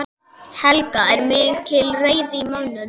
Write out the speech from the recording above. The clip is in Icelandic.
Helga: Er mikil reiði í mönnum?